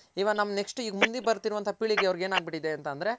ಇವಾಗ ನಮ್ Next ಮುಂದೆ ಬರ್ತಿರೋ ಪೀಳಿಗೆ ಅವರ್ಗೆ ಏನ್ ಆಗ್ಬಿಟ್ಟಿದೆ ಅಂತ ಅಂದ್ರೆ.